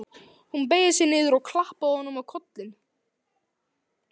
Hún beygði sig niður og klappaði honum á kollinn.